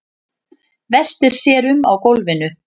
Veltir sér um á gólfinu.